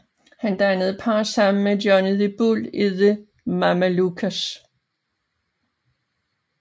Han dannede par sammen med Johnny the Bull i The Mamalukes